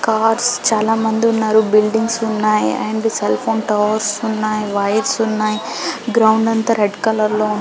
cars చాల మంది ఉన్నారు బిల్డింగ్స్ ఉన్నాయి అండ్ సెల్ల్ఫోన్ టవర్స్ ఉన్నాయి వైర్స్ ఉన్నాయి గ్రౌండ్ అంత రెడ్ కలర్ లో ఉంది